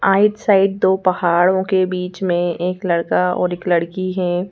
आइट side दो पहाड़ों के बीच में एक लड़का और एक लड़की हैं।